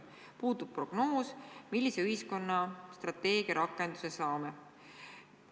Puudub prognoos, millise ühiskonna strateegia rakendudes saame.